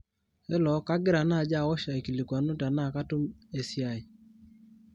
hello kagira naaji awosh aikilikuanu tenaa katum esiai